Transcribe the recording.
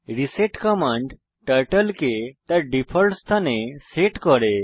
reset command turtle কে তার default স্থানে সেট করে